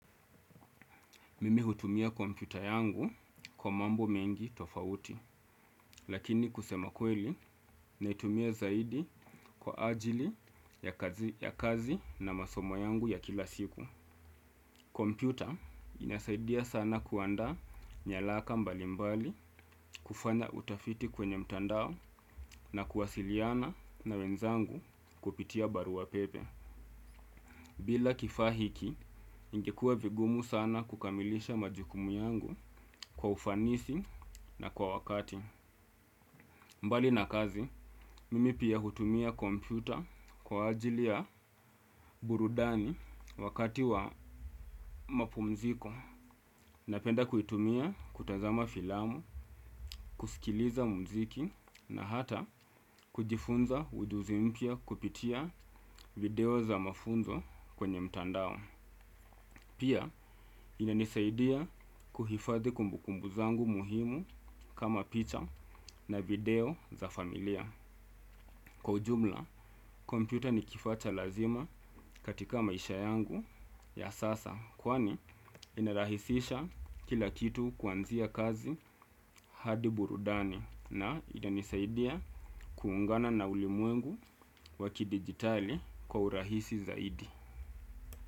Mimi hutumia kompyuta yangu kwa mambo mengi tofauti, lakini kusema kweli naitumia zaidi kwa ajili ya kazi na masomo yangu ya kila siku. Kompyuta inasaidia sana kuandaa nyaraka mbali mbali kufanya utafiti kwenye mtandao na kuwasiliana na wenzangu kupitia barua pepe. Bila kifaa hiki ingekua vigumu sana kukamilisha majukumu yangu kwa ufanisi na kwa wakati. Mbali na kazi mimi pia hutumia kompyuta kwa ajili ya burudani wakati wa mapumziko. Napenda kuitumia kutazama filamu kusikiliza mziki na hata kujifunza ujuzi mpya kupitia video za mafunzo kwenye mtandao. Pia inanisaidia kuhifadhi kumbukumbu zangu muhimu kama picha na video za familia. Kwa ujumla kompyuta ni kifaa cha lazima katika maisha yangu ya sasa. Kwani inarahisisha kila kitu kuanzia kazi hadi burudani. Na inanisaidia kuungana na ulimwengu wa kidigitali kwa urahisi zaidi.